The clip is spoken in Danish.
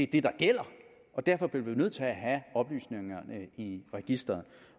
det der gælder derfor bliver vi jo nødt til at have oplysningerne i registeret